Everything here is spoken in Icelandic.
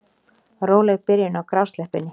Róleg byrjun á grásleppunni